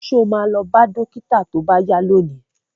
Ṣo ma lọ bá dókítà tó bá yá lónìí?